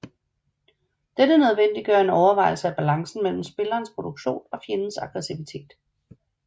Dette nødvendiggør en overvejelse af balancen mellem spillerens produktion og fjendens aggressivitet